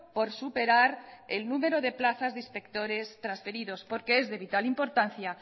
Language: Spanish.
por superar el número de plazas de inspectores trasferidos porque es de vital importancia